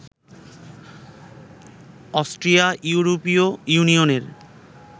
Austria ইউরোপীয় ইউনিয়নের